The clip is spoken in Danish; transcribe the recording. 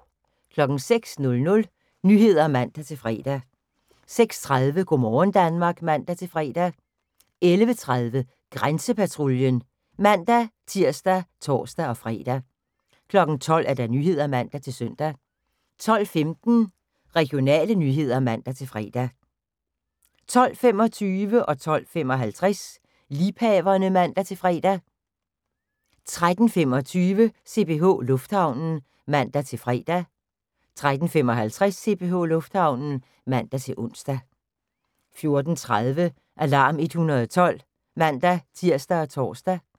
06:00: Nyhederne (man-fre) 06:30: Go' morgen Danmark (man-fre) 11:30: Grænsepatruljen (man-tir og tor-fre) 12:00: Nyhederne (man-søn) 12:15: Regionale nyheder (man-fre) 12:25: Liebhaverne (man-fre) 12:55: Liebhaverne (man-fre) 13:25: CPH Lufthavnen (man-fre) 13:55: CPH Lufthavnen (man-ons) 14:30: Alarm 112 (man-tir og tor)